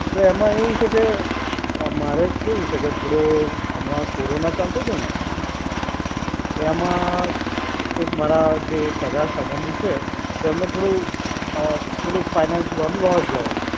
તો એમાં એવું છે કે મારે કેવું છે કે થોડો હમણાં કોરોના ચાલતો તો ને, તો એમાં એક મારા જે સગા સંબંધી છે, તેમણે થોડું અ થોડું ફાઇનાન્સમાં લોસ ગયો.